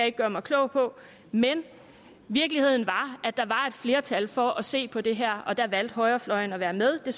ikke gøre mig klog på men virkeligheden var at der var et flertal for at se på det her og der valgte højrefløjen at være med så